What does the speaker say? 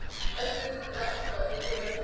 Hefur það einhverja merkingu?